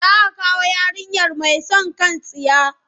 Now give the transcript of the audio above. Za a kawo yarinyar mai son kan tsiya.